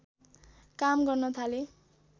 काम गर्न थाले